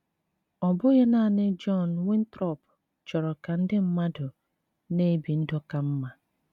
Ọ bụghị nanị John Winthrop chọrọ ka ndị mmadụ na - ebi ndụ ka mma.